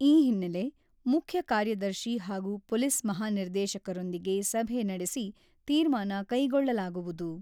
ಈ ಹಿನ್ನೆಲೆ, ಮುಖ್ಯ ಕಾರ್ಯದರ್ಶಿ ಹಾಗೂ ಪೊಲೀಸ್ ಮಹಾನಿರ್ದೇಶಕರೊಂದಿಗೆ ಸಭೆ ನಡೆಸಿ, ತೀರ್ಮಾನ ಕೈಗೊಳ್ಳಲಾಗುವುದು.